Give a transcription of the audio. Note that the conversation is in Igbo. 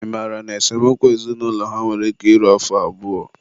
ị mara na esemokwu ezinaụlọ ha nwere ike iru afọ abụọ?